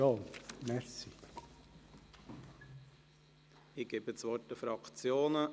Ich erteile das Wort den Fraktionen;